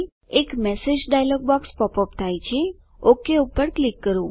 એક message dialog box pop up થાય છે ઓક પર ક્લિક કરો